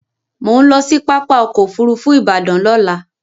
Mò ń lọ sí pápá ọkọ̀ Òfurufú Ìbàdàn lọ́la